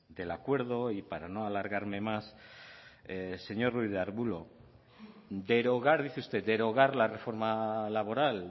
del acuerdo y para no alargarme más señor ruiz de arbulo derogar dice usted derogar la reforma laboral